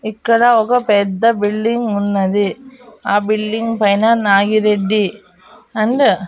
ఇక్కడ ఒక పెద్ద బిల్డింగ్ ఉన్నది ఆ బిల్డింగ్ పైన నాగిరెడ్డి అండ్ .